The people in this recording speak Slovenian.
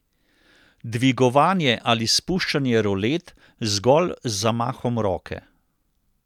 Dvigovanje ali spuščanje rolet zgolj z zamahom roke.